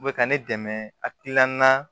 U bɛ ka ne dɛmɛ akilina na